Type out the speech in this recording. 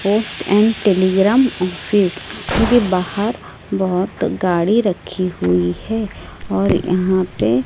post and telegram office मुझे बाहर बहोत गाड़ी रखी हुई है और यहां पे--